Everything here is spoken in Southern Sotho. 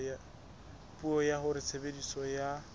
puo ya hore tshebediso ya